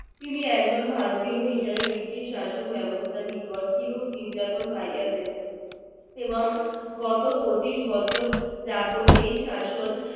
তিনি একজন ভারতীয় হিসেবে british শাসন ব্যবস্থা র নিকট কিরূপ নির্যাতন পাইয়াছেন এবং গত পঁচিশ বছর যাবত এই শাসন